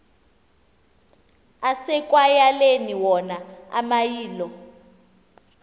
asekwayaleni wona amayilo